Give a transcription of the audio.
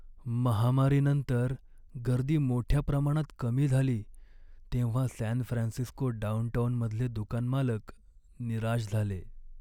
महामारीनंतर गर्दी मोठ्या प्रमाणात कमी झाली तेव्हा सॅन फ्रान्सिस्को डाउनटाउनमधले दुकान मालक निराश झाले.